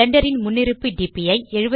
Blender ன் முன்னிருப்பு TPE